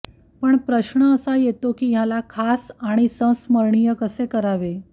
पण प्रश्न असा येतो की ह्याला खास आणि संस्मरणीय कसे करावे